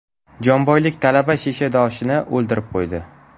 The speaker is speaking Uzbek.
Jomboylik talaba shishadoshini o‘ldirib qo‘ydi.